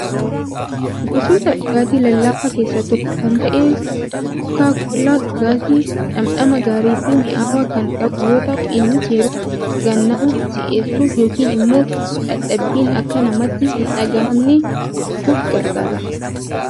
Gosoota dhugaatii lallaafaa keessaa tokko kan ta'e kookaa kollaan dhugaatii dhamdhama gaarii fi mi'aawaa kan qabu yoo ta'u innis yeroo dhugaan nama si'eessuf yookiin immoo dadhabiin akka namatti hin dhagaahamne gochuuf gargaara.